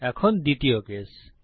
এখন দ্বিতীয় কেস